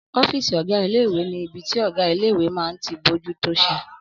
Ọ́fìsì ọgá ilé-ìwé ní ibi tí ọgá ilé-ìwé máa tí n bójú tó sẹ́